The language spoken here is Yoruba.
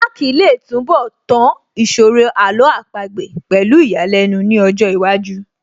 Mark lè túnbọ̀ tán ìṣòro Àlọ́ àpagbè pẹ̀lú ìyàlẹ́nu ní ọjọ́ iwájú